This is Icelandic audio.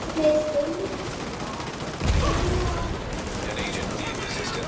Meðgöngutími kúariðu er langur.